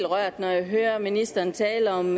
rørt når jeg hører ministeren tale om